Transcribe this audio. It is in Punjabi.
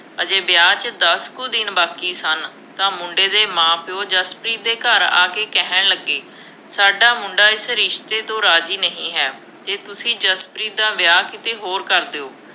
ਅਜੇ ਵਿਆਹ 'ਚ ਦਸ ਕੁ ਦਿਨ ਬਾਕੀ ਸਨ ਤਾਂ ਮੁੰਡੇ ਦੇ ਮਾਂ-ਪਿਉ ਜਸਪ੍ਰੀਤ ਦੇ ਘਰ ਆ ਕੇ ਕਹਿਣ ਲੱਗੇ, ਸਾਡਾ ਮੁੰਡਾ ਇਸ ਰਿਸ਼ਤੇ ਤੋਂ ਰਾਜ਼ੀ ਨਹੀਂ ਹੈ। ਜੇ ਤੁਸੀਂ ਜਸਪ੍ਰੀਤ ਦਾ ਵਿਆਹ ਕਿਤੇ ਹੋਰ ਕਰ ਦਿਓ।